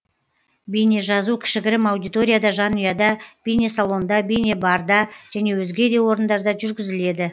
бейнежазу кішігірім аудиторияда жанұяда бейнесалонда бейнебарда және өзге де орындарда жүргізіледі